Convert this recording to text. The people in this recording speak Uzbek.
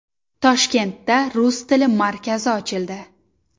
Toshkentda Rus tili markazi ochildi.